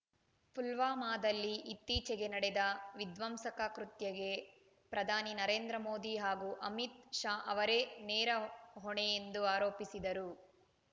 ಪುಲ್ವಾಮಾದಲ್ಲಿ ಇತ್ತೀಚೆಗೆ ನಡೆದ ವಿಧ್ವಂಸಕ ಕೃತ್ಯಕ್ಕೆ ಪ್ರಧಾನಿ ನರೇಂದ್ರ ಮೋದಿ ಹಾಗೂ ಅಮಿತ್‌ ಶಾ ಅವರೇ ನೇರ ಹೊಣೆ ಎಂದು ಆರೋಪಿಸಿದರು